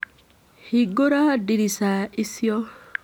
Hingũra ndirica icio.